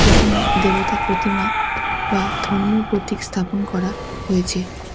এখানে দেবতার প্রতিমা বা ধর্মীয় প্রতীক স্থাপন করা হয়েছে এ--